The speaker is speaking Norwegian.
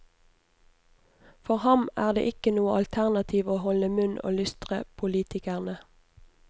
For ham er det ikke noe alternativ å holde munn og lystre politikerne.